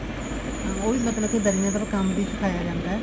ਹਾਂ ਉਹ ਵੀ ਮਤਲਬ ਕੇ ਦਰੀਆਂ ਦਾ ਕੰਮ ਵੀ ਸਿਖਾਇਆ ਜਾਂਦਾ